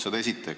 Seda esiteks.